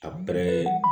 A bɛrɛ